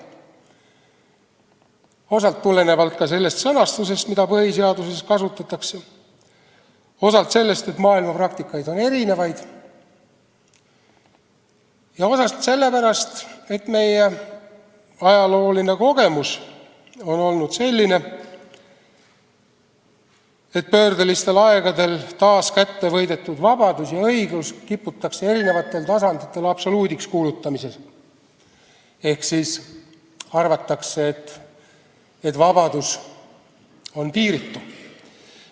Seda osalt tulenevalt sellest sõnastusest, mida põhiseaduses kasutatakse, osalt tulenevalt sellest, et maailmas on erinevaid praktikaid, ja osalt sellepärast, et meie ajalooline kogemus on olnud selline, et pöördelistel aegadel taas kättevõidetud vabadust ja õiglust kiputakse eri tasanditel absoluudiks kuulutama ehk arvatakse, et vabadus on piiritu.